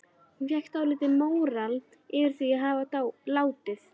Hún fékk dálítinn móral yfir því að hafa látið